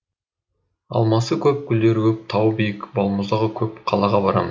алмасы көп гүлдері көп тауы биік балмұздағы көп қалаға барамын